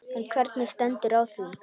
En hvernig stendur á því?